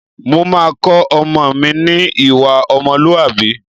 Mo máa kọ́ ọmọ mi ní ìwà ọmọlúwàbí